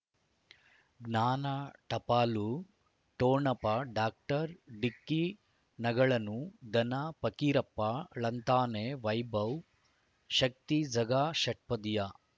ಜ್ಞಾನ ಟಪಾಲು ಠೊಣಪ ಡಾಕ್ಟರ್ ಢಿಕ್ಕಿ ಣಗಳನು ಧನ ಫಕೀರಪ್ಪ ಳಂತಾನೆ ವೈಭವ್ ಶಕ್ತಿ ಝಗಾ ಷಟ್ಪದಿಯ